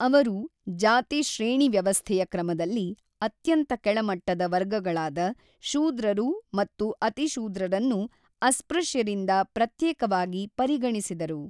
ಅವರು ಜಾತಿ ಶ್ರೇಣಿವ್ಯವಸ್ಥೆಯ ಕ್ರಮದಲ್ಲಿ ಅತ್ಯಂತ ಕೆಳಮಟ್ಟದ ವರ್ಗಗಳಾದ ಶೂದ್ರರು ಮತ್ತು ಅತಿಶೂದ್ರರನ್ನು ಅಸ್ಪೃಶ್ಯರಿಂದ ಪ್ರತ್ಯೇಕವಾಗಿ ಪರಿಗಣಿಸಿದರು.